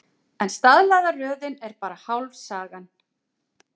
En staðlaða röðin er bara hálf sagan.